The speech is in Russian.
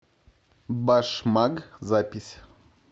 башмаг запись